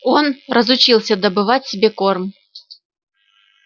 он разучился добывать себе корм